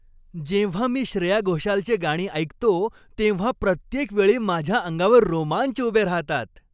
जेव्हा मी श्रेया घोषालची गाणी ऐकतो, तेव्हा प्रत्येक वेळी माझ्या अंगावर रोमांच उभे राहतात.